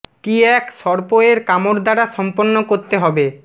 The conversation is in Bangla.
কী এক সর্প এর কামড় দ্বারা সম্পন্ন করতে হবে